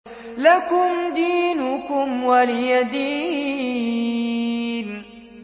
لَكُمْ دِينُكُمْ وَلِيَ دِينِ